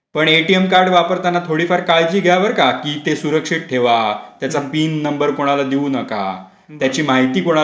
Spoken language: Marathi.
पण एटीएम कार्ड वापरताना थोडी फार काळजी घ्या बरं का ! कि ते सुरक्षित ठेवा त्याचा पिन नंबर कोणाला देऊ नका त्याची माहिती कोणाला